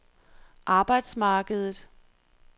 arbejdsmarkedet